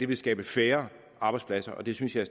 vil skabe færre arbejdspladser og det synes jeg